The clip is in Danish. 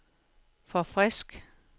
forfrisk